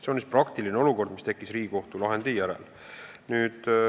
Selline olukord tekkis Riigikohtu lahendi järel.